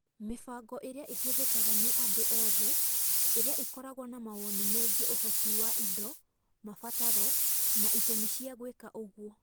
Mĩbango ĩrĩa ĩhũthĩkaga nĩ andũ othe ĩrĩa ĩkoragwo na mawoni megiĩ ũhoti wa indo, mabataro, na itũmi cia gwĩka ũguo